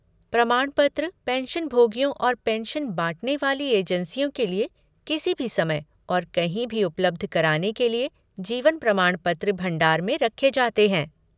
प्रमाणपत्र, पेंशनभोगियों और पेंशन बाँटने वाली एजेंसियों के लिए किसी भी समय और कहीं भी उपलब्ध कराने के लिए जीवन प्रमाणपत्र भंडार में रखे जाते हैं।